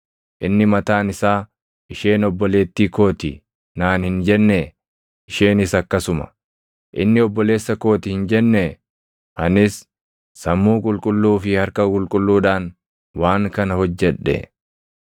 Inni mataan isaa, ‘Isheen obboleettii koo ti’ naan hin jennee? Isheenis akkasuma, ‘Inni obboleessa koo ti’ hin jennee? Anis sammuu qulqulluu fi harka qulqulluudhaan waan kana hojjedhe.”